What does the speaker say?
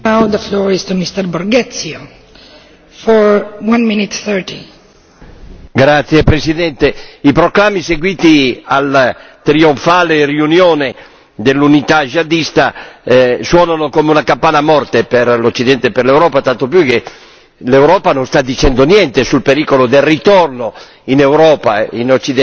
Signora Presidente, onorevoli colleghi, i proclami seguiti alla trionfale riunione dell'unità jihadista suonano come una campana a morto per l'Occidente e per l'Europa, tanto più che l'Europa non sta dicendo niente sul pericolo del ritorno in Europa e in Occidente dei guerrieri di Allah dopo aver esercitato la nobile professione di sgozzatori